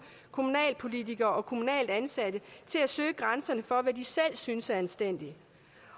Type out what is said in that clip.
kommunalpolitikere og kommunalt ansatte til at søge grænserne for de selv synes er anstændigt